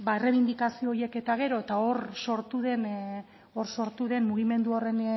errebindikazio horiek eta gero eta hor sortu den mugimendu